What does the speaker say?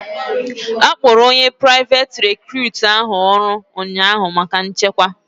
A hayara onye priveti recutu ahụ maka nchekwa ụnyaahụ